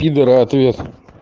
пидора ответ